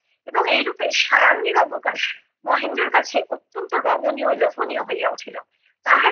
এবং এইরূপে সায়াহ্নের অবকাশ মহেন্দ্রর কাছে অত্যন্ত রমণীয় লোভনীয় হইয়া উঠিলো।